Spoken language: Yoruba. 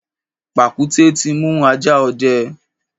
Pàkúté ti mú ajá ọdẹ.